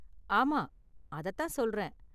ஆமா, அத தான் சொல்றேன்.